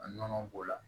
Nɔnɔ b'o la